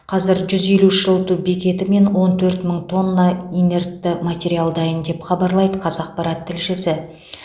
қазір жүз елу үш жылыту бекеті мен он төрт мың тонна инертті материал дайын деп хабарлайды қазақпарат тілшісі